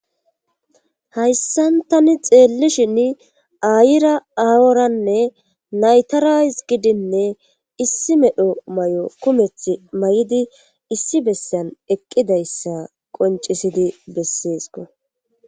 hayssan tani xeellishin ayira aworanne naytarays gidinne issi medho may7o kumethi may7di issi bessan eqqidayssa qoncisidi besseesko